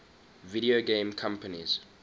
video game companies